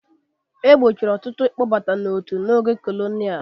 E gbochiri ọtụtụ ịkpọbata n'otu n'oge kolonial.